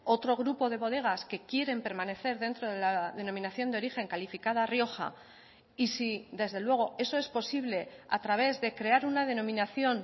otro grupo de bodegas que quieren permanecer dentro de la denominación de origen calificada rioja y si desde luego eso es posible a través de crear una denominación